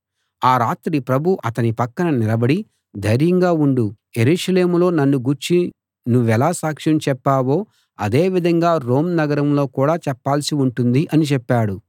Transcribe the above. ఆ రాత్రి ప్రభువు అతని పక్కన నిలబడి ధైర్యంగా ఉండు యెరూషలేములో నన్ను గూర్చి నువ్వెలా సాక్ష్యం చెప్పావో అదే విధంగా రోమ్ నగరంలో కూడా చెప్పాల్సి ఉంటుంది అని చెప్పాడు